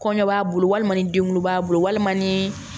Kɔɲɔ b'a bolo walima ni den wolo b'a bolo walima ni